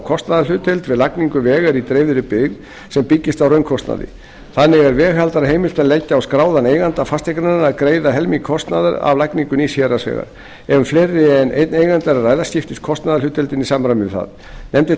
kostnaðarhlutdeild við lagningu vegar í dreifðri byggð sem byggist á raunkostnaði þannig er veghaldara heimilt að leggja á skráðan eiganda fasteignar að greiða helming kostnaðar af lagningu nýs héraðsvegar ef um fleiri en einn eiganda er að ræða skiptist kostnaðarhlutdeildin í samræmi við það nefndin